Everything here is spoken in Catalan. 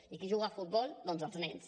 i qui juga a futbol doncs els nens